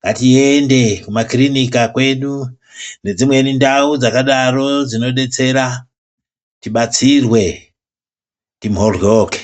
ngatiende kumakirinika kwedu nedzimweni ndau dzakadaro tibatsirwe timhoryoke.